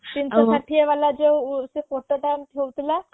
ତିନିଶ ଷାଠିଏ ବାଲା ଯୋଉ ସେ ଫୋଟୋ ଟା ଉଠୋଉ ଥିଲା